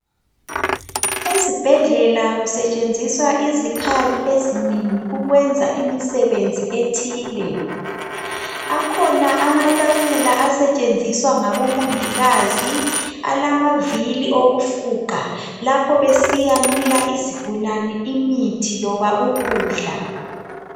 Ezibhedlela kusetshenziswa izikhali ezinengi ukwenza imisebenzi ethile. Akhona amatafula asetshenziswa ngabomongikazi alamavili okufuqa lapho besiyanika izigulane imithi loba ukudla.